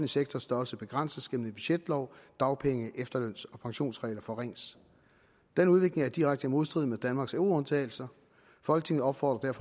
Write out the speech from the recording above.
sektors størrelse begrænses gennem en budgetlov og dagpenge efterløns og pensionsregler forringes denne udvikling er i direkte modstrid med danmarks euroundtagelse folketinget opfordrer